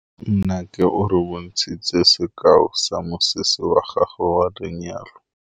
Nnake o re bontshitse sekaô sa mosese wa gagwe wa lenyalo.